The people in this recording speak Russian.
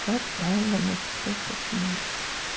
как правильно написать сочинение